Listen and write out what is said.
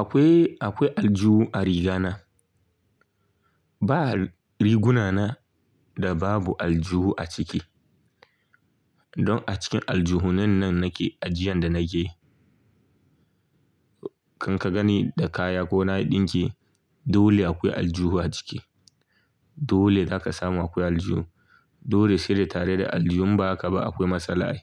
Akwai, akwai aljihu a riga na. Ba riguna na da babu aljihu a ciki. Don a cikin aljihunan nan nake ajiyan da nake. Kan ka ganni da kaya ko na yi ɗinki dole akwai aljihu a ciki. Dole zaka samu akwai aljihu. Dole sai da tare da aljihu inba haka ba akwai matsala ai.